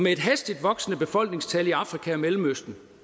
et hastigt voksende befolkningstal i afrika og mellemøsten